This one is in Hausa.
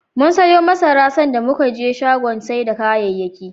Mum siyo masara, sanda muka je shagon sai da kayayyaki.